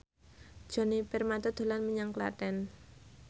Djoni Permato dolan menyang Klaten